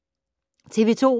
TV 2